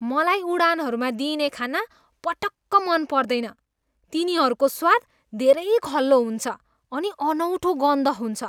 मलाई उडानहरूमा दिइने खाना पटक्क मन पर्दैन। तिनीहरूको स्वाद धेरै खल्लो हुन्छ अनि अनौठो गन्ध हुन्छ।